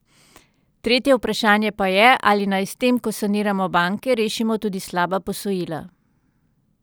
Tretje vprašanje pa je, ali naj s tem, ko saniramo banke, rešimo tudi slaba posojila.